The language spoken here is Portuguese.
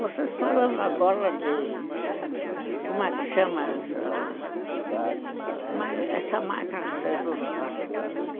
Vocês falando agora de... como é que chama essa... essa máquina que vocês usam agora?